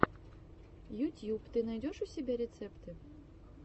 ютьюб ты найдешь у себя рецепты